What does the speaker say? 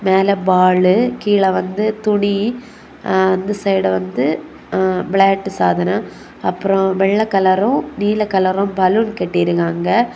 மேல பால் கீழ வந்து துணி அந்த சைடு வந்து விளையாட்டு சாதனம் அப்புரம் வெல்ல காலுரும் நீல காலரும் பலூன் கட்டி இருக்காங்க.